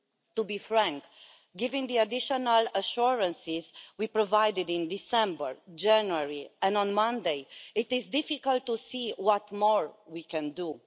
To be frank, given the additional assurances we provided in December and January, and on Monday, it is difficult to see what more we can do.